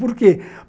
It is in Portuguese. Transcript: Por quê?